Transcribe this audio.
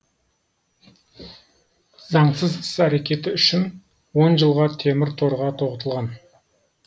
заңсыз іс әрекеті үшін он жылға темір торға тоғытылған